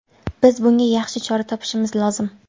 Biz bunga yaxshi chora topishimiz lozim”.